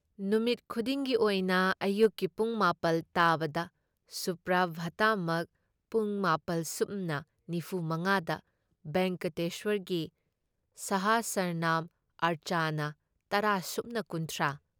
ꯅꯨꯃꯤꯠ ꯈꯨꯗꯤꯡꯒꯤ ꯑꯣꯏꯅ ꯑꯌꯨꯛꯀꯤ ꯄꯨꯡ ꯃꯥꯄꯜ ꯇꯥꯕꯗ ꯁꯨꯄ꯭ꯔꯚꯥꯇꯃꯛ, ꯄꯨꯡ ꯃꯥꯄꯜ ꯁꯨꯞꯅ ꯅꯤꯐꯨ ꯃꯉꯥ ꯗ ꯚꯦꯡꯀꯇꯦꯁ꯭ꯋꯔꯒꯤ ꯁꯍꯁ꯭ꯔꯅꯥꯝ ꯑꯔꯆꯅꯥ ꯇꯔꯥ ꯁꯨꯞꯅ ꯀꯨꯟꯊ꯭ꯔꯥ